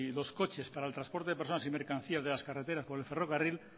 los coches para el transporte de personas y mercancías de las carreteras por el ferrocarril